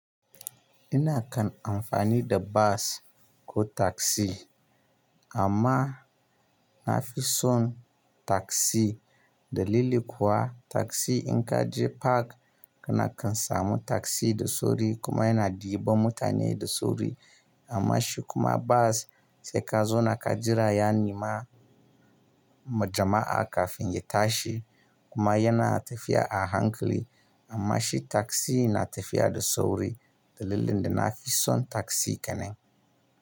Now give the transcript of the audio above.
Ina kan amfani da bas ko taksi amma na fi son taksi dalili kuwa taksi in ka je park kana kan samu taksi da sauri kuma yana ɗiba mutane da sauri. Amma shi kuma bas sai ka zona ka jira ya nima jama'a kafin ya tashi kuma yana tafiya a hankali. Amma shi taksi na tafiya da sauri dalilin da na fi son taksi kenan.